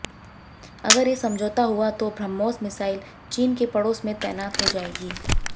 अगर ये समझौता हुआ तो ब्रह्मोस मिसाइल चीन के पड़ोस में तैनात हो जाएगी